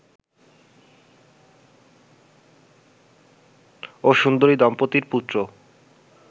ও সুন্দরী দম্পত্তির পুত্র